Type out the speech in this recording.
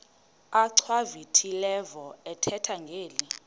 achwavitilevo ethetha ngeli